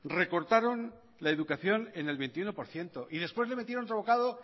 recortaron la educación en el veintiuno por ciento y después le metieron otro bocado